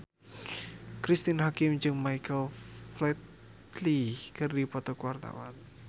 Cristine Hakim jeung Michael Flatley keur dipoto ku wartawan